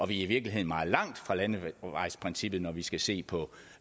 virkeligheden meget langt fra landevejsprincippet når vi skal se på